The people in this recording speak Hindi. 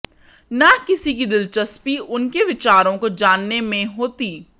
न किसी की दिलचस्पी उनके विचारों को जानने में होती